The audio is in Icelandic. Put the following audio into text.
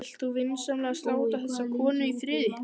Vilt þú vinsamlegast láta þessa konu í friði!